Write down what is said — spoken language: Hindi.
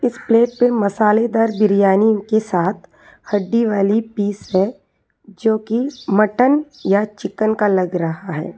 इस प्लेट पे मसालेदार बिरयानी के साथ हड्डी वाली पीस है जो की मटन या चिकन का लग रहा है।